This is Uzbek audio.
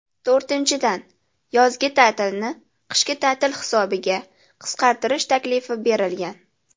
To‘rtinchidan , yozgi ta’tilni qishki ta’til hisobiga qisqartirish taklifi berilgan.